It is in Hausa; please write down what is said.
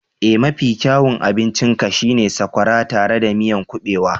Ee! Mafi kyawun abincin ka shi ne sakwara tare da miyan kubewa